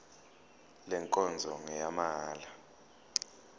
le nkonzo ngeyamahala